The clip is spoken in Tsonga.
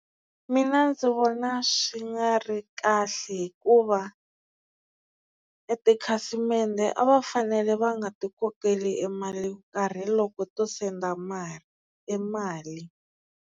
Mina ndzi vona swi nga ri kahle hikuva e tikhasimende a va fanele va nga ti kokeli e mali yo karhi loko to send mali e mali.